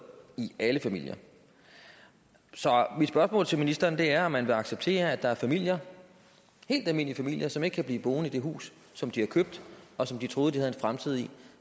i alle familier så mit spørgsmål til ministeren er om man vil acceptere at der er familier helt almindelige familier som ikke kan blive boende i det hus som de har købt og som de troede de havde en fremtid i